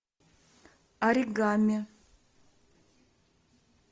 оригами